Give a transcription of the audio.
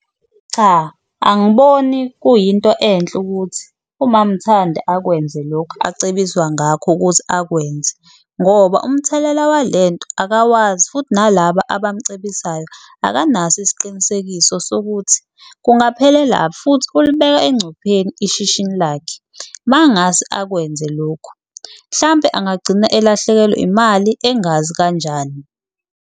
Cha, angiboni kuyinto enhle ukuthi umam'Thandi akwenze lokhu acebiswa ngakho ukuthi akwenze ngoba umthelela walento akawazi, futhi nalaba abamcebisayo akanaso isiqinisekiso sokuthi futhi ulibeka engcupheni ishishini lakhe. Mangase akwenze lokhu hlampe angagcina elahlekelwe imali engazi kanjani.